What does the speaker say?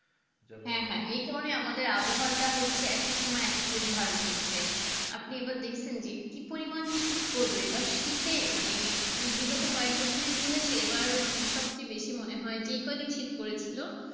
হ্যাঁ হ্যাঁ এই কারণে আমাদের আবহাওয়াটা হচ্ছে এক এক সময়ে একেক রূপ ধারণ করে ছে আপনি আবার দেখছেন যে কি পরিমাণ শীত পড়লো এবার শীতে মানে বিগত কয়েক বছর ইতিহাসে এবার মানে সবথেকে বেশি মনে হয় যেকদিন শীত পড়েছে ছিল